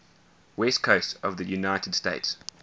west coast of the united states